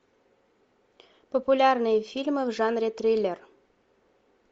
популярные фильмы в жанре триллер